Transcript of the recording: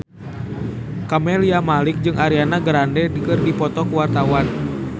Camelia Malik jeung Ariana Grande keur dipoto ku wartawan